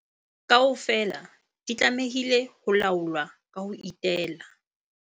Kaofela di tlamehile ho laolwa ka ho itela.